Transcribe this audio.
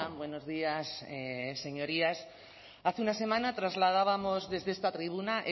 buenos días señorías hace una semana trasladábamos desde esta tribuna